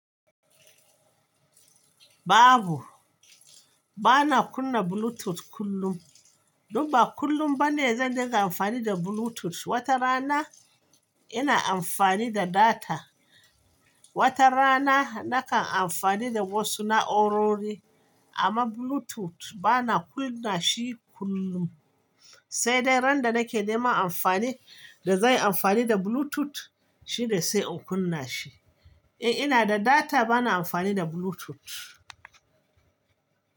Babu. Bana kunna Bluetooth kullum. Dum ba kullum bane zan dinga amfani da Bluetooth. Wata rana ina amfani da data, wata rana nakan amfani da wasu na'urori. Amma Bluetooth bana kunna shi kullum. Sai dai randa nake neman amfani da zan yi amfani da Bluetooth shine sai in kunna shi. In ina da data bana amfani da Bluetooth.